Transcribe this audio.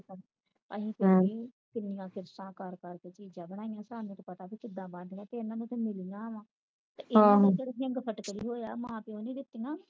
ਅਸੀਂ ਤਾ ਅਸੀਂ ਕਿਨੀਆਂ ਕਿਸ਼ਤਾਂ ਕਰ ਕਰ ਕੇ ਚੀਜਾਂ ਬਣਾਈਆਂ ਤੇ ਸਾਨੂੰ ਤਾ ਪਤਾ ਕੇ ਕਿਦਾਂ ਬਣਦੀਆਂ ਤੇ ਹਨ ਨੂੰ ਤਾ ਮਿਲਗੀਵਾ ਤੇ ਇਹਨਾਂ ਦਾ ਤਾ ਰਿਗ ਫਟਕੇ ਵਾ ਹੋਇਆ ਮਾਂ ਪਾਉ ਨੇ ਦਿੱਤੀਆਂ ਆ